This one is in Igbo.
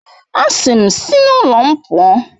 A sị m, si n'ụlọ m pụọ!